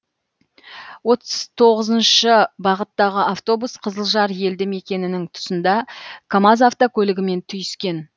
отыз тоғызыншы бағыттағы автобус қызылжар елді мекенінің тұсында камаз автокөлігімен түйіскен